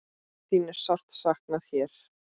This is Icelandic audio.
Þín er sárt saknað hér.